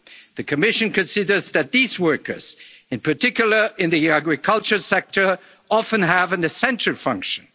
to enter the Union. The Commission considers that these workers, in particular in the agricultural sector, often have an